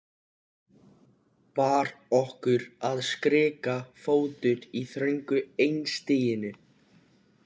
Var okkur að skrika fótur í þröngu einstiginu?